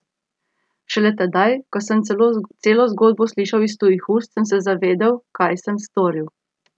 Šele tedaj, ko sem celo zgodbo slišal iz tujih ust, sem se zavedel, kaj sem storil.